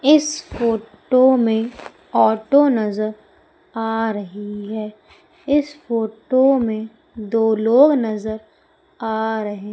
इस फोटो में आटो नजर आ रही हैं इस फोटो दो लोग नजर आ रहे--